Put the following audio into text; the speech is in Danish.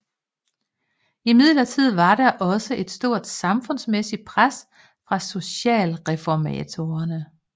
Imidlertid var der også et stort samfundsmæssigt pres fra socialreformatorerne